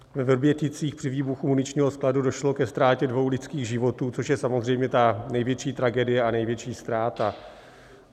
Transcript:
Ve Vrběticích při výbuchu muničního skladu došlo ke ztrátě dvou lidských životů, což je samozřejmě ta největší tragédie a největší ztráta.